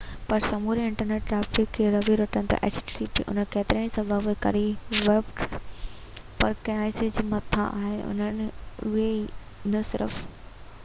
اهي ڪيترن ئي سبب جي ڪري ويب پراڪسيز کان مٿانهون آهن اهي نہ صرف http پر سموري انٽرنيٽ ٽرئفڪ کي ري-روٽ ڪن ٿا